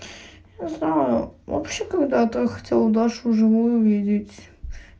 не знаю вообще когда-то хотел дашу живую увидеть